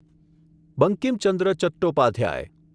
Bankim Chandra Chattopadhyay